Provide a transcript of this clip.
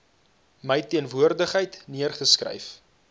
my teenwoordigheid neergeskryf